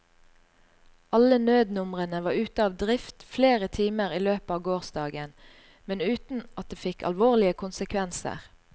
Alle nødnumrene var ute av drift flere timer i løpet av gårsdagen, men uten at det fikk alvorlige konsekvenser.